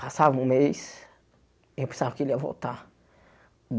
Passava um mês e eu pensava que ele ia voltar.